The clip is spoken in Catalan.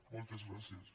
moltes gràcies